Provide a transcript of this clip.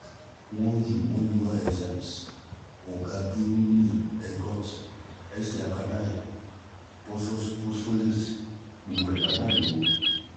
enzyme òǹkà gbogbo rẹ̀ pátá lò ó